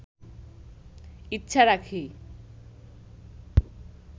ইচ্ছা রাখি